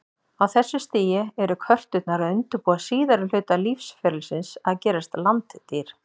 Á þessu stigi eru körturnar að undirbúa síðari hluta lífsferlisins, að gerast landdýr.